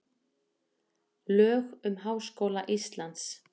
lög um háskóla íslands